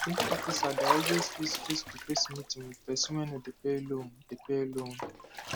loan officer dey always fix facetoface meeting with person wey no dey pay loan dey pay loan